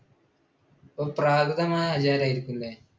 പ്രാകൃതമായ ആചാരം ആയിരിക്കുമല്ലേ?